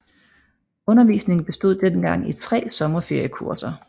Undervisningen bestod dengang i tre sommerferiekurser